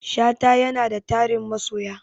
Shata yanada tarin masoya